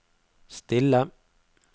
stille